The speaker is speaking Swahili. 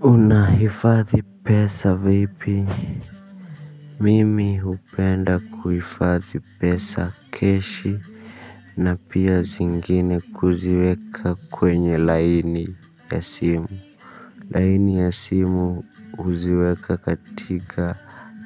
Unahifadhi pesa vipi. Mimi hupenda kuhifadhi pesa keshi. Na pia zingine kuziweka kwenye laini ya simu laini ya simu huziweka katika